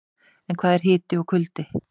En hvað er hiti og kuldi?